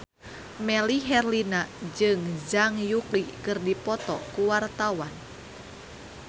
Melly Herlina jeung Zhang Yuqi keur dipoto ku wartawan